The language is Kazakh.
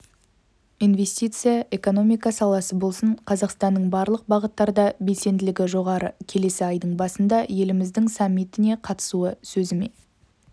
инвестиция экономика саласы болсын қазақстанның барлық бағыттарда белсенділігі жоғары келесі айдың басында еліміздің саммитіне қатысуы сөзіме